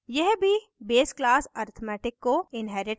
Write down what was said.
यह भी base class arithmetic को inherits करता है